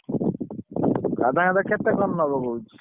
ରାଧାକାନ୍ତ କେତେ କଣ ନବ କହୁଛି?